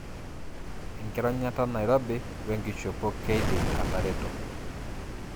Enkironyata nairobi wenkishopo keidim atareto.